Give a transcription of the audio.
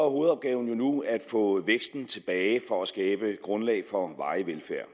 hovedopgaven nu at få væksten tilbage for at skabe grundlag for varig velfærd